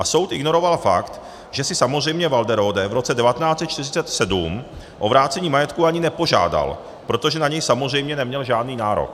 A soud ignoroval fakt, že si samozřejmě Walderode v roce 1947 o vrácení majetku ani nepožádal, protože na něj samozřejmě neměl žádný nárok.